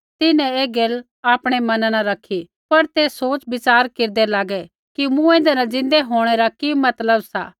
तिन्हैं ऐ गैल आपणै मना न रैखी पर ते सोच़विच़ार केरदै लागै कि मूँऐंदै न ज़िन्दै होंणै रा कि मतलब सा